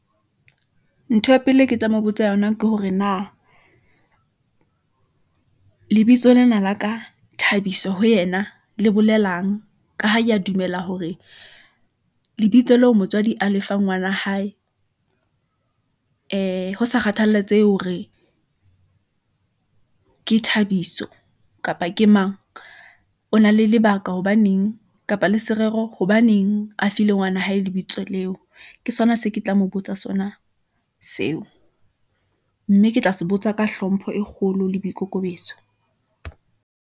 Ntho ya pele e ke tla mo botsa yona ke hore na lebitso lena la ka Thabiso ho yena le bolelang. Ka ha ke a dumela hore lebitso leo motswadi a lefang ngwana hae ho sa kgathalatsehe hore ke Thabiso kapa ke mang. O na le lebaka, hobaneng kapa le serero hobaneng a file ngwana hae lebitso leo, ke sona se ke tla mo botsa sona seo, mme ke tla se botsa ka hlompho e kgolo le boikokobetso.